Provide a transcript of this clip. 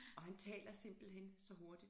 Og han taler simpelthen så hurtigt